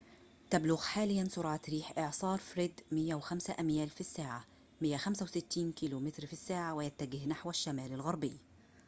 تبلغ حاليًا سرعة ريح إعصار فريد 105 أميال في الساعة 165 كم/ساعة ويتجه نحو الشمال الغربي